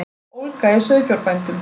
Ólga í sauðfjárbændum